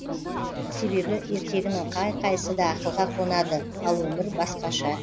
себебі ертегінің қай қайсысы да ақылға қонады ал өмір басқаша